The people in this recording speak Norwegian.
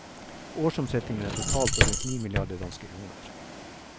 Årsomsetningen er totalt på rundt ni milliarder danske kroner.